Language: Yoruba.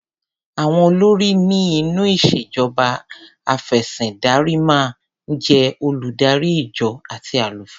Àwọn olórí ni inú ìṣèjọba afẹ̀sìndarímáa ń jé oludari ìjọ àti àlùfáà.